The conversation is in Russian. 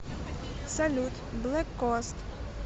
салют блэк коаст